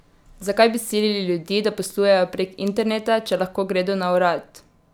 Zakaj bi silili ljudi, da poslujejo prek interneta, če lahko gredo na urad?